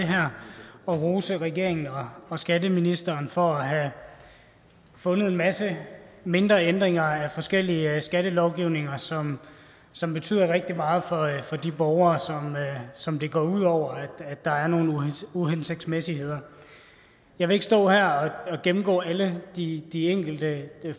det her og rose regeringen og og skatteministeren for at have fundet en masse mindre ændringer af forskellige skattelovgivninger som som betyder rigtig meget for de borgere som det går ud over at der er nogle uhensigtsmæssigheder jeg vil ikke stå her og gennemgå alle de de enkelte